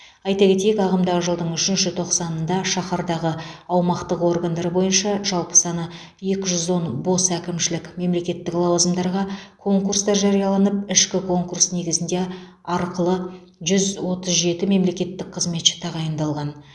айта кетейік ағымдағы жылдың үшінші тоқсанында шаһардағы аумақтық органдар бойынша жалпы саны екі жүз он бос әкімшілік мемлекеттік лауазымдарға конкурстар жарияланып ішкі конкурс негізінде арқылы жүз отыз жеті мемлекеттік қызметші тағайындалған